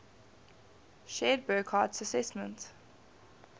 shared burckhardt's assessment